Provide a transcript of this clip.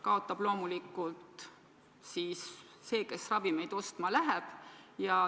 Kaotab loomulikult see, kes ravimeid ostma läheb.